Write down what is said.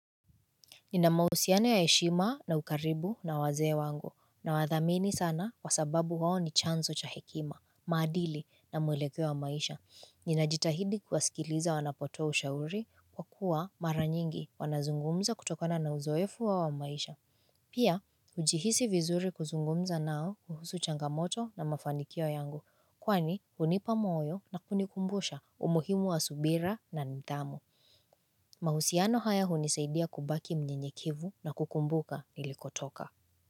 Nina mahusiano ya heshima na ukaribu na wazee wangu nawathamini sana kwa sababu wao ni chanzo cha hekima, maadili na mwelekeo wa maisha. Ninajitahidi kuwasikiliza wanapotoa ushauri kwa kuwa mara nyingi wanazungumza kutokona na uzoefu wao wa maisha. Pia, hujihisi vizuri kuzungumza nao kuhusu changamoto na mafanikio yangu kwani hunipa moyo na kunikumbusha umuhimu wa subira na mthamo. Mahusiano haya hunisaidia kubaki mnyenyekevu na kukumbuka nilikotoka.